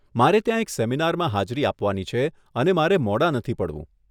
મારે ત્યાં એક સેમિનારમાં હાજરી આપવાની છે અને મારે મોડાં નથી પડવું.